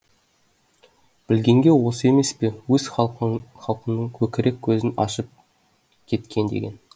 білгенге осы емес пе өз халқыныңкөкірек көзін ашып кеткен деген